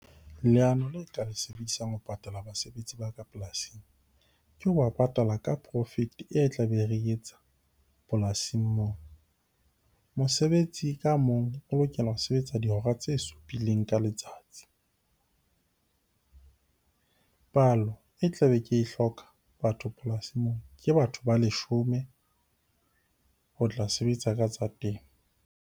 Leano le ke tla le sebedisang ho patala basebetsi ba ka polasing, ke ho ba patala ka profit-e e tlabe re e etsa polasing moo. Mosebetsi ka mong o lokela ho sebetsa dihora tse supileng ka letsatsi. Palo e tlabe ke e hloka batho polasing moo ke batho ba leshome ho tla sebetsa ka tsa temo.